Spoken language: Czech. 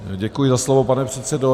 Děkuji za slovo, pane předsedo.